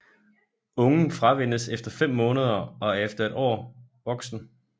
Ungen fravænnes efter fem måneder og er efter et år voksen